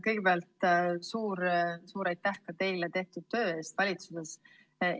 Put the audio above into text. Kõigepealt suur-suur aitäh ka teile tehtud töö eest valitsuses!